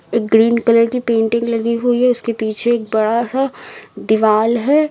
Green colour की painting लगी हुई है उसके पीछे एक बड़ा सा दीवाल है।